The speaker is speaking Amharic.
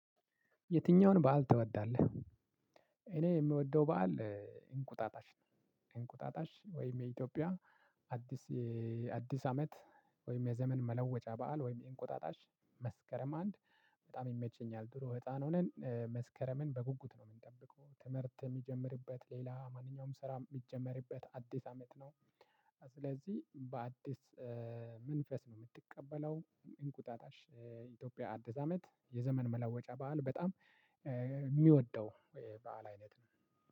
የትኛውን በዓል ትወዳለህ? እኔ የምወደው በዓል እንቁጣጣሽ እንቁጣጣሽ ወይም የኢትዮጵያ አዲስ አዲስ አመት ወይም የዘመን መለወጫ በዓል ወይም የእንቁጣጣሽ መስከረም አንድ በጣም ይመቸኛል። ድሮ ህፃን ሆነን መስከረምን በጉጉት ነው የምንጠብቀው ትምህርት የሚጀምርበት ሌላ ማንኛውም ስራ የሚጀመርበት አዲስ አመት ነው። ስለዚህ በአዲስ መንፈስ ነው የምትቀበለው። እንቁጣጣሽ የኢትዮጵያ አድስ አመት የዘመን መለወጫ በዓል በጣም የሚወደው በዓል አይነት ነው።